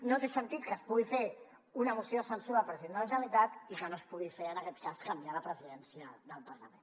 no té sentit que es pugui fer una moció de censura al president de la generalitat i que no es pugui fer en aquest cas canviar la presidència del parlament